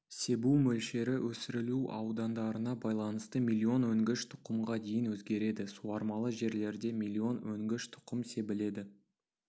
себу мөлшері өсірілу аудандарына байланысты миллион өнгіш тұқымға дейін өзгереді суармалы жерлерде миллион өнгіш тұқым себіледі